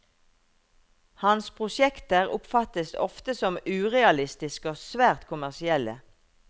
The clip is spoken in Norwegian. Hans prosjekter oppfattes ofte som urealistiske og svært kommersielle.